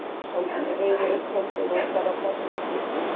Hann reiðir upp höndina og ætlar að berja Pínu.